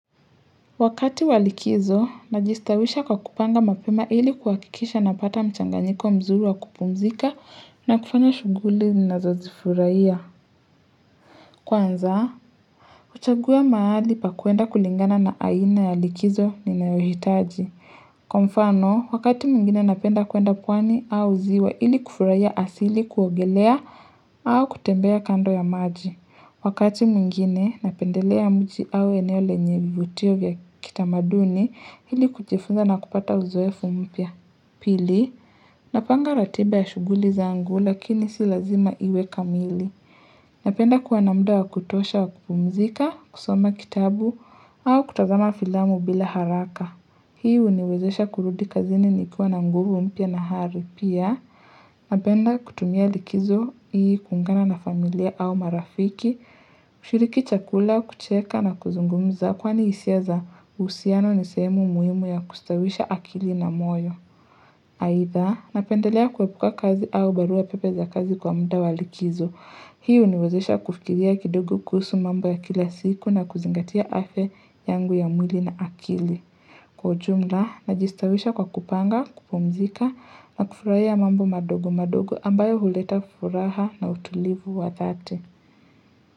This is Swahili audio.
Wakati wa likizo, najistawisha kwa kupanga mapema ili kuhakikisha napata mchanganyiko mzuri wa kupumzika, na kufanya shughuli ninazo zifurahia. Kwanza, huchagua mahali pa kwenda kulingana na aina ya likizo ninayohitaji. Kwa mfano, wakati mwingine napenda kwenda pwani au ziwa ili kufurahia asili, kuogelea, au kutembea kando ya maji. Wakati mwingine, natembelea mji au eneo lenye vivutio vya kitamaduni ili kujifunza na kupata uzoefu mpya. Pili, napanga ratiba ya shughuli zangu lakini si lazima iwe kamili. Napenda kuwa na muda wa kutosha wa kupumzika, kusoma kitabu au kutazama filamu bila haraka. Hii huniwezesha kurudi kazini nikiwa na nguvu mpya na hali pia. Napenda kutumia likizo hii kuungana na familia au marafiki, kushiriki chakula, kucheka na kuzungumza kwani hisia za uhusiano ni sehemu muhimu ya kustawisha akili na moyo. Haitha, napendelea kuepuka kazi au barua pepe za kazi kwa muda wa likizo. Hii huniwezesha kufikiria kidogo kuhusu mambo ya kila siku na kuzingatia afya yangu ya mwili na akili. Kwa ujumla, najistawisha kwa kupanga, kupumzika na kufurahia mambo madogo madogo ambayo huleta furaha na utulivu wa dhati.